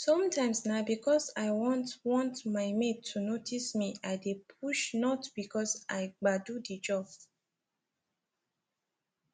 sometimes na because i want want my mate to notice me i dey push not because i gbadu the jab